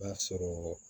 O b'a sɔrɔ